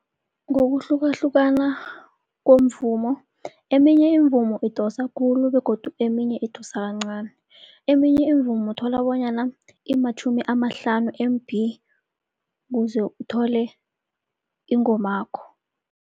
Ngokuhlukahlukana komvumo, eminye imivumo idosa khulu begodu eminye idosa kancani. Eminye imivumo uthola bonyana imatjhumi amahlanu M_B ukuze uthole ingomakho.